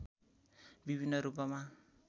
विभिन्न रूपमा